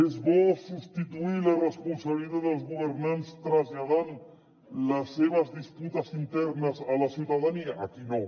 és bo substituir la responsabilitat dels governants traslladant les seves disputes internes a la ciutadania aquí no